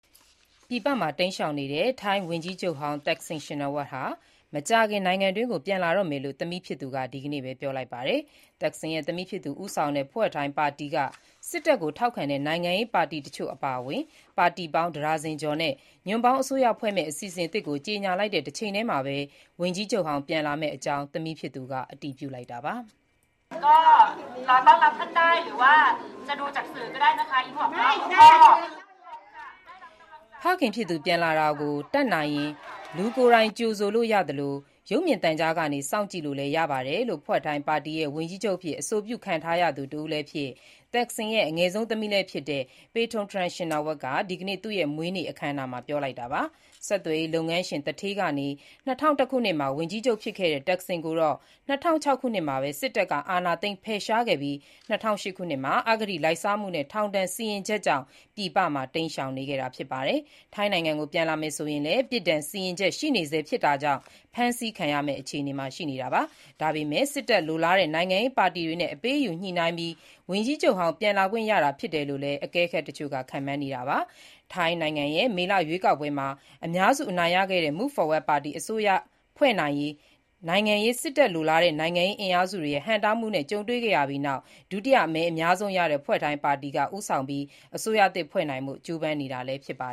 ပြည်ပမှာ တိမ်းရှောင်နေတဲ့ ထိုင်းဝန်ကြီးချုပ်ဟောင်း Thaksin Shinawatra မကြာခင် နိုင်ငံကို ပြန်လာတော့မယ်လို့ သမီးဖြစ်သူက ဒီနေ့ပဲ ပြောလိုက်ပါတယ်။ Thaksin သမီးဖြစ်သူ ဦးဆောင်တဲ့ Pheu Thai ပါတီက စစ်တပ်ကို ထောက်ခံတဲ့ နိုင်ငံရေး ပါတီတချို့ အပါအဝင် ပါတီပေါင်း ၁ ဒါဇင်ကျော်နဲ့ ညွန့်ပေါင်းအစိုးရဖွဲ့မယ့် အစီအစဉ်သစ်ကို ကြေညာလိုက်တဲ့ တချိန်တည်းမှာပဲ ဝန်ကြီးချုပ်ဟောင်း ပြန်လာမယ့်အကြောင်း သမီးဖြစ်သူက အတည်ပြုလိုက်တာပါ။ ဖခင်ဖြစ်သူ ပြန်လာတာကို တတ်နိုင်ရင် လူကိုယ်တိုင်ကြိုဆိုလို့ ရသလို၊ ရုပ်မြင်သံကြားကနေ စောင့်ကြည့်လို့လည်း ရပါတယ်လို့ Pheu Thai ပါတီရဲ့ ဝန်ကြီးချုပ်အဖြစ် အဆိုပြုခံထားရသူ တဦးလည်းဖြစ်၊ Thaksin ရဲ့ အငယ်ဆုံး သမီးလည်းဖြစ်တဲ့ Paetongtarn Shinawatra က ဒီကနေ့ သူ့ရဲ့မွေးနေ့ အခမ်းအနားမှာ ပြောလိုက်တာပါ။ ဆက်သွယ်ရေးလုပ်ငန်းရှင် သူဌေးကနေ ၂၀၀၁ ခုနှစ်မှာ ဝန်ကြီးချုပ် ဖြစ်ခဲ့တဲ့ တပ်ခ်ဆင်ကိုတော့ ၂၀၀၆ ခုနှစ်မှာပဲ စစ်တပ်က အာဏာသိမ်း ဖယ်ရှားခဲ့ပြီး၊ ၂၀၀၈ ခုနှစ်မှာ အဂတိလိုက်စားမှုနဲ့ ထောင်ဒဏ်စီရင်ချက်ကြောင့် ပြည်ပမှာ တိမ်းရှောင်နေခဲ့တာ ဖြစ်ပါတယ်။ ထိုင်းနိုင်ငံကို ပြန်လာမယ်ဆိုရင်လည်း ပြစ်ဒဏ်စီရင်ချက် ရှိနေဆဲ ဖြစ်တာကြောင့် ဖမ်းဆီးခံရမယ့် အခြေအနေမှာ ရှိနေတာပါ။ ဒါပေမဲ့လည်း စစ်တပ် လိုလားတဲ့ နိုင်ငံရေး ပါတီတွေနဲ့ အပေးအယူညှိနှိုင်းပြီး ဝန်ကြီးချုပ်ဟောင်း ပြန်လာခွင့်ရတာ ဖြစ်နိုင်တယ်လို့လည်း အကဲခတ် တချို့က ခန့်မှန်းနေတာပါ။ ထိုင်းနိုင်ငံရဲ့ မေလရွေးကောက်ပွဲမှာ အများစု အနိုင်ရခဲ့တဲ့ Move Forward Party အစိုးရဖွဲ့နိုင်ရေး စစ်တပ်လိုလားတဲ့ နိုင်ငံရေး အင်အားစုတွေရဲ့ ဟန့်တားမှုတွေ ကြုံခဲ့ရပြီးနောက် ဒုတိယမဲအများဆုံးရခဲ့တဲ့ Pheu Thai ပါတီက ဦးဆောင်ပြီး အစိုးရသစ် ဖွဲ့နိုင်ဖို့ ကြိုးပမ်းနေတာ ဖြစ်ပါ